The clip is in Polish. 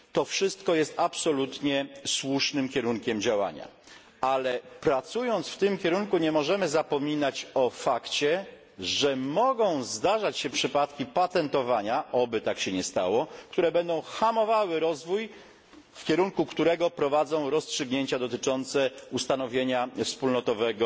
To wszystko jest absolutnie słusznym kierunkiem działania, ale pracując w tym kierunku nie możemy zapominać o fakcie, że mogą zdarzać się przypadki patentowania oby tak się nie stało które będą hamowały rozwój, w kierunku którego prowadzą rozstrzygnięcia dotyczące ustanowienia wspólnotowego